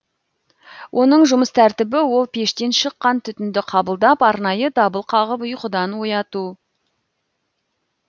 оның жұмыс тәртібі ол пештен шыққан түтінді қабылдап арнайы дабыл қағып ұйқыдан ояту